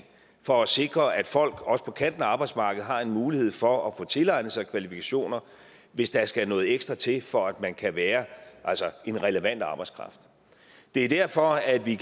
for at sikre at folk også på kanten af arbejdsmarkedet har en mulighed for at få tilegnet sig kvalifikationer hvis der skal noget ekstra til for at man altså kan være en relevant arbejdskraft det er derfor at vi